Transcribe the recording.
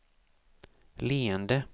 leende